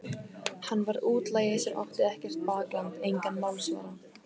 Hann var útlagi sem átti ekkert bakland, engan málsvara.